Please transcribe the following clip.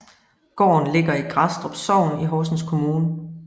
Gården Ligger i Grædstrup Sogn i Horsens Kommune